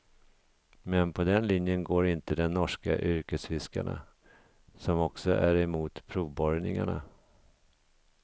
Men på den linjen går inte de norska yrkesfiskarna, som också är emot provborrningarna.